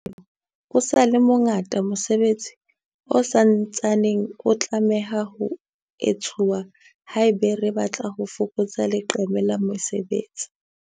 Leha ho le jwalo, o sa le mo ngata mosebetsi o sa ntsaneng o tlameha ho etsuwa haeba re batla ho fokotsa leqeme la mesebetsi.